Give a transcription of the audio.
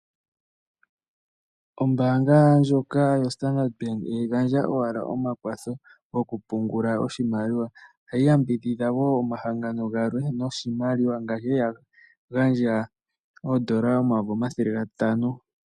Ombaanga ndjoka yoStandard Bank ihayi gandja owala omakwatho gokupungula oshimaliwa. Ohayi yambidhidha wo omahangano galwe noshimaliwa ngaashi ya li ya gandja oodola omayovi omathele gatano.